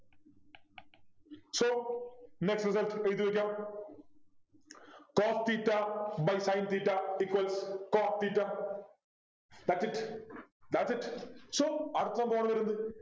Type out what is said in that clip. so net result എഴുതി വെക്കാം Cos theta by sin theta equals cot theta thats it thats it so അടുത്ത എന്താണ് വാരുന്നത്